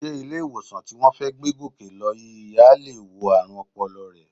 Sé ilé-ìwòsàn tí wọ́n fẹ́ gbé Gòkè lọ yìí á lè wo ààrùn ọpọlọ rẹ?